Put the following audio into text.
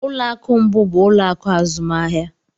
Ụlọ akụ mbụ bụ ụlọ akụ azụmahịa